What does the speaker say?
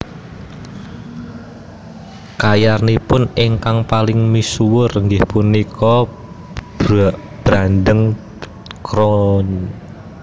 Karyanipun ingkang paling misuwur inggih punika Brandenburg concerto